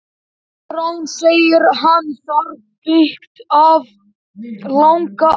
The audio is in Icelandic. Koðrán segir hann þar byggt hafa langa ævi.